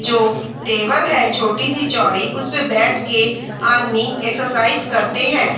जो टेबल है छोटीसी चौड़ी उसपे बैठ के आदमी एक्सरसाइज करते हैं।